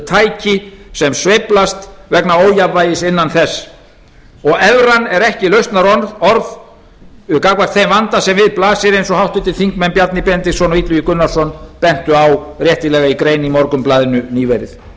tæki sem sveiflast vegna ójafnvægis innan þess og evran er ekki lausnarorð gagnvart þeim vanda sem við blasir eins og háttvirtur þingmaður bjarni benediktsson og illugi gunnarsson bentu á réttilega í grein í morgunblaðinu nýverið